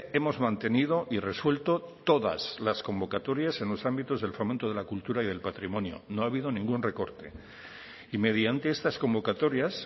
hemos mantenido y resuelto todas las convocatorias en los ámbitos del fomento de la cultura y del patrimonio no ha habido ningún recorte y mediante estas convocatorias